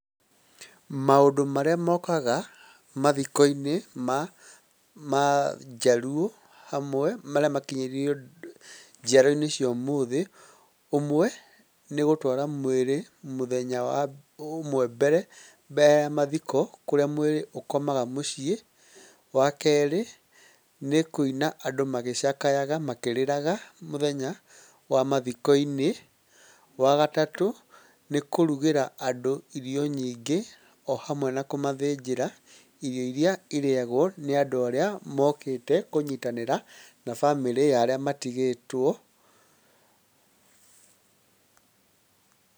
Maũndũ marĩa mokaga mathiko-inĩ ma ma njaruo hamwe marĩa makinyĩirio njiarwa cia ũmũthĩ, ũmwe nĩ gũtũara mwĩrĩ mũthenya ũmwe mbere ya mathiko, kũríĩ mwĩrĩ ũkomaga mũciĩ, wa kerĩ nĩ kũina andũ magĩcakayaga makĩrĩraga mũthenya wa mathiko-inĩ, wa gatatũ nĩkũrugĩra andũ irio nyingĩ o hamwe na kũmathĩnjĩra, irio irĩa irĩyagwo nĩ andũ arĩa mokĩte kũnyitanĩra na bamĩrĩ ya arĩa matigĩtwo.